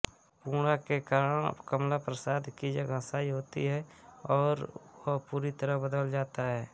पूर्णा के कारण कमलाप्रसाद की जगहंसाई होती है और वह पूरी तरह बदल जाता है